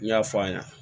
N y'a fɔ a ɲɛna